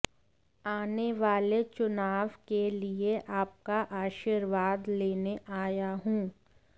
आने वाले चुनाव के लिए आपका आशीर्वाद लेने आया हूं